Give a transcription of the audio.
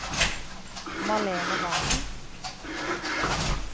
Malene Wangen